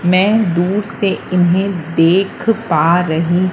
मैं दूर से इन्हें देख पा रही--